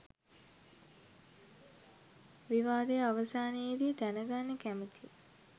විවාදය අවසානයේදී දැනගන්න කැමතියි.